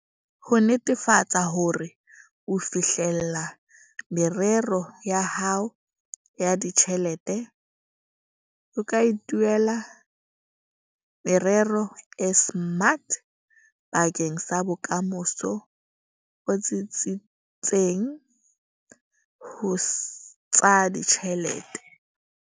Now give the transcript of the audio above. Ho netefatsa hore o fihlella merero ya hao ya ditjhelete, o ka ithuela merero e SMART bakeng sa bokamoso bo tsitsitseng ho tsa ditjhelete.